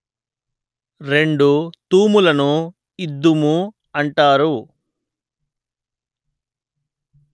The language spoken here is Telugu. రెండు తూములను ఇద్దుము అంటారు